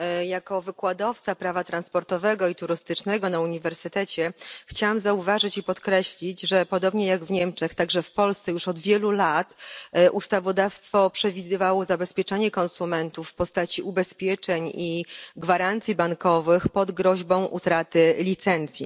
Jako wykładowca prawa transportowego i turystycznego na uniwersytecie chciałam zauważyć i podkreślić, że podobnie jak w Niemczech także w Polsce już od wielu lat ustawodawstwo przewidywało zabezpieczanie konsumentów w postaci ubezpieczeń i gwarancji bankowych pod groźbą utraty licencji.